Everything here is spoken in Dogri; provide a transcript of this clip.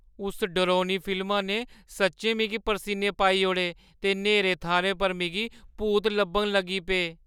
उस डरौनी फिल्मा ने सच्चैं मिगी परसीने पाई ओड़े ते न्हेरे थाह्‌रें पर मिगी भूत लब्भन लगी पे।